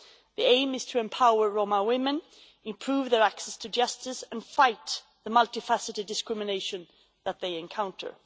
The aim is to empower Roma women, improve their access to justice and fight the multi-faceted discrimination that they encounter.